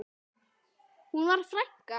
Hún var frænka.